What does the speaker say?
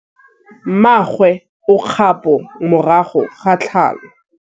Mmagwe o kgapô morago ga tlhalô.